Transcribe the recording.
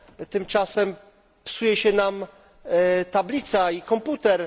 Tymczasem psuje się nam tablica i komputer.